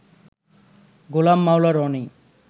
Golam Maula Roni